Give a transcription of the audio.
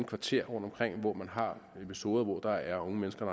kvarterer rundtomkring hvor man har episoder hvor der er unge mennesker